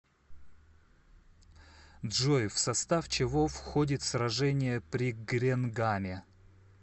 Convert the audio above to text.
джой в состав чего входит сражение при гренгаме